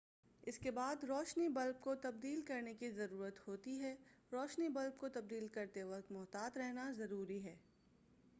اس کے بعد روشنی بلب کو تبدیل کرنے کی ضرورت ہوتی ہے روشنی بلب کو تبدیل کرتے وقت محتاط رہنا ضروری ہے